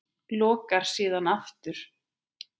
Lokar síðan aftur.